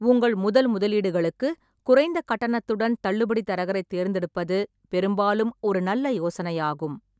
உங்கள் முதல் முதலீடுகளுக்கு குறைந்த கட்டணத்துடன் தள்ளுபடி தரகரைத் தேர்ந்தெடுப்பது பெரும்பாலும் ஒரு நல்ல யோசனையாகும்.